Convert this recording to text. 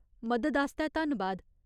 मदद आस्तै धन्नबाद।